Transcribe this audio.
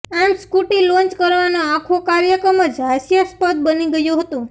આમ scooty launch કરવાનો આખો કાર્યક્રમ જ હાસ્યાસ્પદ બની ગયો હતો